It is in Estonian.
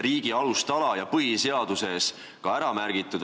riigi alustala ja ka põhiseaduses ära märgitud?